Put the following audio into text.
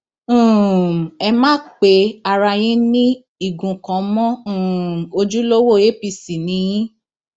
um ẹ má pe ara yín ní igun kan mọ o um ojúlówó apc ni yín